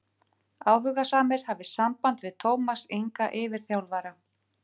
Áhugasamir hafi samband við Tómas Inga yfirþjálfara.